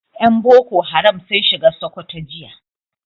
Yan boko haram sun shiga Sokoto jiya